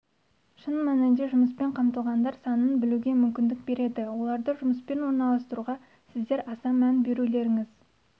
шын мәнінде жұмыспен қамтылғандар санын білуге мүмкіндік береді оларды жұмысқа орналастыруға сіздер аса мән берулеріңіз